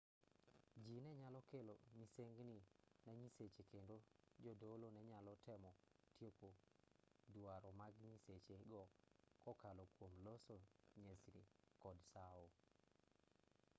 jii ne nyalo kelo misengni ne nyiseche kendo jodolo ne nyalo temo tieko duaro mag nyiseche go kokalo kwom loso nyesni kod sao